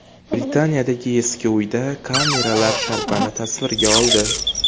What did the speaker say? Britaniyadagi eski uyda kameralar sharpani tasvirga oldi .